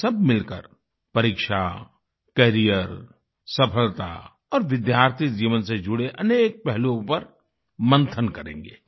हम सब मिलकर परीक्षा कैरियर सफलता और विद्यार्थी जीवन से जुड़े अनेक पहलुओं पर मंथन करेंगे